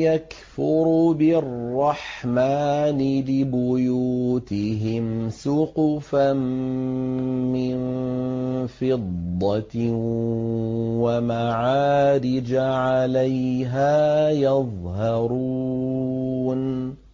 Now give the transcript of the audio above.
يَكْفُرُ بِالرَّحْمَٰنِ لِبُيُوتِهِمْ سُقُفًا مِّن فِضَّةٍ وَمَعَارِجَ عَلَيْهَا يَظْهَرُونَ